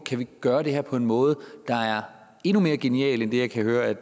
kan gøre det her på en måde der er endnu mere genial end jeg kan høre